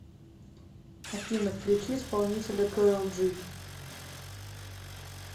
афина включи исполнителя кэрол джи